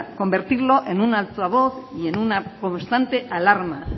convertirlo en un altavoz y en una constante alarma